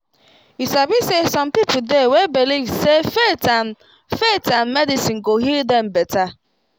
you sabi say some people dey way believe say faith and faith and medicine go heal dem better